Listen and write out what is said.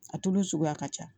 A tulu suguya ka ca